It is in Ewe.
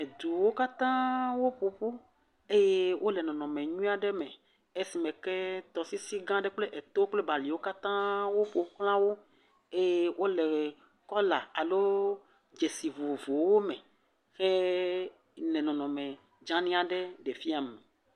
Eduwo katã woƒo ƒu eye wole nɔnɔme nyui aeɖ me esime ke tɔsisi gã aɖe kple etowo kple baliwo ƒoxlawo eye wole kɔla alo dzesi vovovowo me hele nɔnɔme dzeanyi aɖe ɖe fiam.